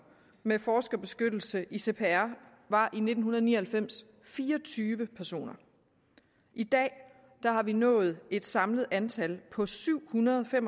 med forskerbeskyttelse i cpr var i nitten ni og halvfems fire og tyve personer i dag har vi nået et samlet antal på syvhundrede